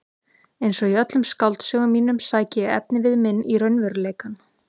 Einsog í öllum skáldsögum mínum sæki ég efnivið minn í raunveruleikann.